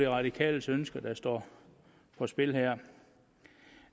radikales ønsker der står på spil her